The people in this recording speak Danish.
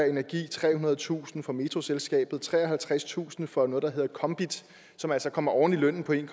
energi trehundredetusind fra metroselskabet treoghalvtredstusind fra noget der hedder kombit som altså kommer oven i lønnen på en